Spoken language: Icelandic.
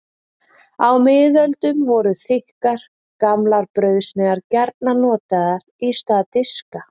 Á miðöldum voru þykkar, gamlar brauðsneiðar gjarnan notaðar í stað diska.